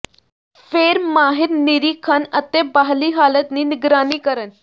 ਫਿਰ ਮਾਹਿਰ ਨਿਰੀਖਣ ਅਤੇ ਬਾਹਰੀ ਹਾਲਤ ਦੀ ਨਿਗਰਾਨੀ ਕਰਨ